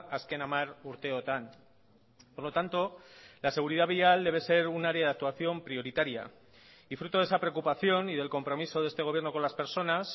azken hamar urteotan por lo tanto la seguridad vial debe ser un área de actuación prioritaria y fruto de esa preocupación y del compromiso de este gobierno con las personas